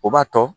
O b'a tɔ